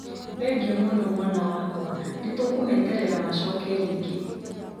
Thengiũ mũno mwana wakwa nĩ tũkũmeterera macoke rĩngĩ.